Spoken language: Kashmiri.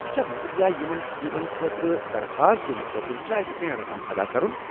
یہٕ چھا مُفت یا یمن سکیمن خٲطرٕ درخواست دنہٕ خٲطرٕ چھ اسہ کینٛہہ رقم ادا کرُن؟